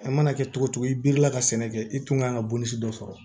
A mana kɛ cogo cogo i bi la ka sɛnɛ kɛ i tun kan ka bon si dɔ sɔrɔ